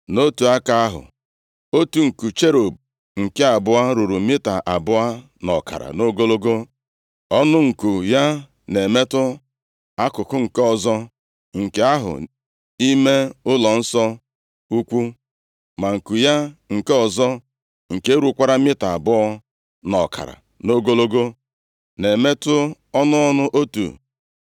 Nʼotu aka ahụ, otu nku cherub nke abụọ ruru mita abụọ na ọkara nʼogologo. Ọnụ nku ya na-emetụ akụkụ nke ọzọ nke ahụ ime ụlọnsọ ukwu, ma nku ya nke ọzọ, nke rukwara mita abụọ na ọkara nʼogologo, na-emetụ ọnụ ọnụ otu nku cherub nke mbụ.